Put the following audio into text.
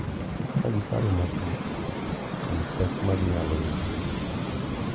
Ka giparo matut kuom pek ma ginyalo yudo, .